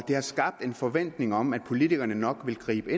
har skabt en forventning om at politikerne nok vil gribe